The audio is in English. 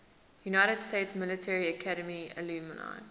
united states military academy alumni